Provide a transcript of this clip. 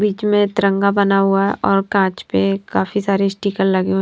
बीच में तिरंगा बना हुआ है और कांच पे काफी सारे स्टीकर लगे हु--